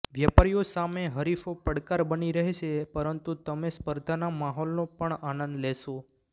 વ્યાપારીઓ સામે હરીફો પડકાર બની રહેશે પરંતુ તમે સ્પર્ધાના માહોલનો પણ આનંદ લેશો